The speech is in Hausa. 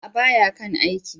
A'a! ba ya kan aiki.